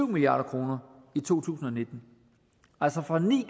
milliard kroner i to tusind og nitten altså fra ni